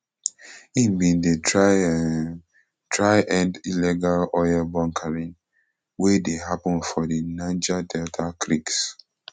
im bin dey um try end illegal oil bunkering wey dey happun for di niger delta creeks